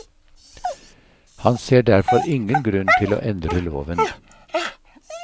Han ser derfor ingen grunn til å endre loven.